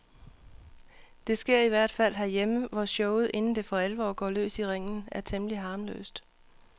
Det sker i hvert fald herhjemme, hvor showet inden det for alvor går løs i ringen, er temmelig harmløst.